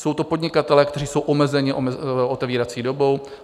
Jsou to podnikatelé, kteří jsou omezeni otevírací dobou.